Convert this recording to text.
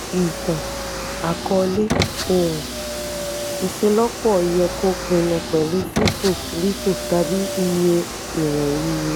itan-akọọlẹ oun-iṣelọpọ yẹ kó pinnu pẹ̀lú fifo lifo tàbí iye iwọn iye.